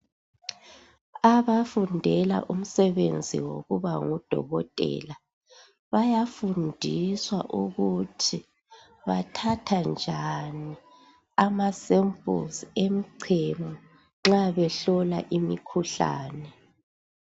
Abafundela umsebenzi wokuba ngudokotela bayafundiswa ukuthi bathatha njani amasamples emchemo nxa behlola imikhuhlane .